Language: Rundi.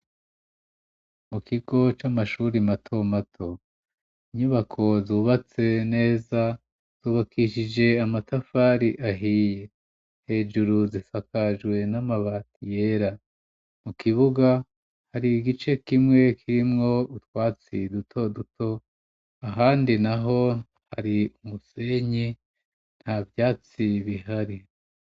Mu kigo c'amashuri mato mato inyubako zubatse neza zubakishije amatafari ahiye hejuru zisakajwe n'amabati yera mu kibuga hari igice kimwe kirimwo utwatsi duto duto ahandi naho hari umusenyi nta vyatsi bihari.